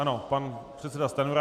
Ano, pan předseda Stanjura.